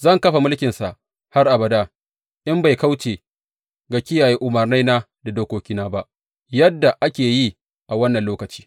Zan kafa mulkinsa har abada in bai kauce ga kiyaye umarnaina da dokokina ba, yadda ake yi a wannan lokaci.’